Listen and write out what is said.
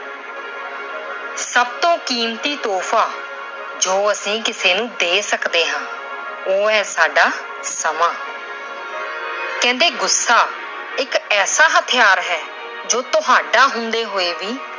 ਸਭ ਤੋਂ ਕੀਮਤੀ ਤੋਹਫਾ ਜੋ ਅਸੀਂ ਕਿਸੇ ਨੂੰ ਦੇ ਸਕਦੇ ਹਾਂ, ਉਹ ਹੈ-ਸਾਡਾ ਸਮਾਂ। ਕਹਿੰਦੇ ਗੁੱਸਾ ਇੱਕ ਐਸਾ ਹਥਿਆਰ ਹੈ ਜੋ ਤੁਹਾਡਾ ਹੁੰਦੇ ਹੋਏ ਵੀ